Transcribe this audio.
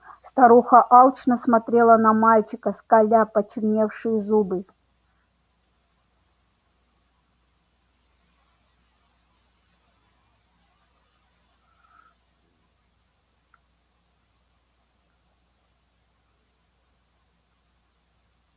старуха алчно смотрела на мальчика скаля почерневшие зубы